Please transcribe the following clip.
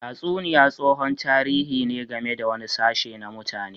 Tatsuniya tsohon tarihi ne game da wani sashe na mutane.